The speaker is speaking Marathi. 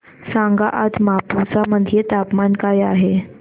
सांगा आज मापुसा मध्ये तापमान काय आहे